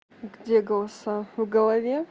где голоса в голове